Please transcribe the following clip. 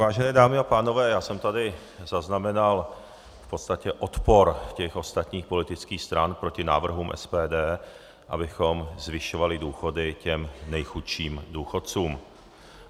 Vážené dámy a pánové, já jsem tady zaznamenal v podstatě odpor těch ostatních politických stran proti návrhům SPD, abychom zvyšovali důchody těm nejchudším důchodcům.